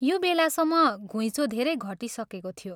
यो बेलासम्म घुइँचो धेरै घटिसकेको थियो।